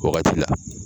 Wagati la